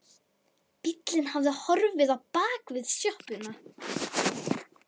Bíllinn hafði horfið á bak við sjoppuna.